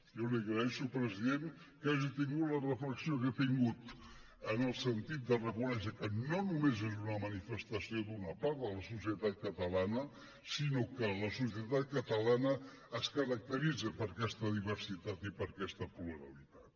jo li agraeixo president que hagi tingut la reflexió que ha tingut en el sentit de reconèixer que no només és una manifestació d’una part de la societat catalana sinó que la societat catalana es caracteritza per aquesta diversitat i per aquesta pluralitat